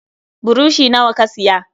Burushi nawa ka siya?